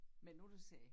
Men nu du siger